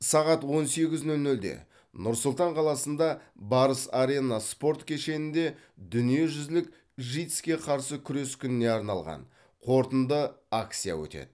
сағат он сегіз нөл нөлде нұр сұлтан қаласында барыс арена спорт кешенінде дүниежүзілік житс ке қарсы күрес күніне арналған қорытынды акция өтеді